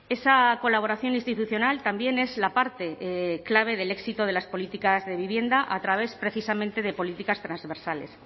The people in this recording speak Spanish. esa colaboración institucional también es la parte clave del éxito de las políticas de vivienda a través precisamente de políticas transversales